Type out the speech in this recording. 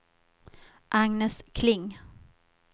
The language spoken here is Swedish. Agnes Kling